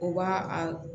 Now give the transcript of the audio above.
U b'a a